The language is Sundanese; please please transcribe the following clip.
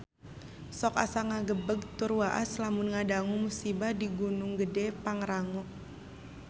Sok asa ngagebeg tur waas lamun ngadangu musibah di Gunung Gedhe Pangrango